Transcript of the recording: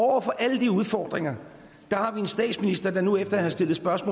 over for alle de udfordringer har vi en statsminister der nu lad os nu snart